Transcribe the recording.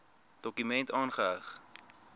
dokument aangeheg